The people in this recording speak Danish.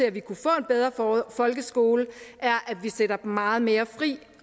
at vi kunne få en bedre folkeskole at vi sætter meget mere fri